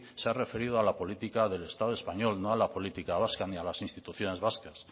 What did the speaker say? se ha referido a la política del estado español no a la política vasca ni a las instituciones vascas